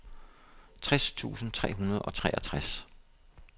tres tusind tre hundrede og treogtres